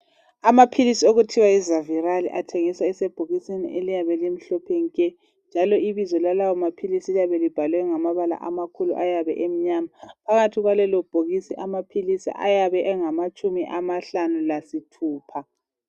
Amaphilisi okuthiwa yiZaviral athengiswa esebhokisini eliyabe limhlophe nke njalo ibizo lalawo maphilisi liyabe libhalwe ngamabala amakhulu ayabe emnyama. phakathi kwalelobhokisi amaphilisi ayabe engamatshumi amahlanu lasithupa.